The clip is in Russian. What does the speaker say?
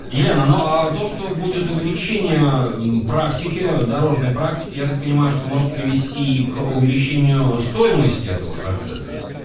елена ну а то что будет увеличение практики дорожной практике я так понимаю что может привести и к увеличению стоимости этого процесса